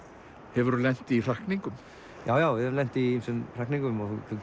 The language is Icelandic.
hefurðu lent í hrakningum já við höfum lent í ýmsum hrakningum og þú